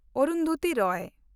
Arundhati Roy